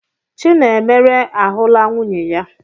Chinemere ahụla nwunye ya.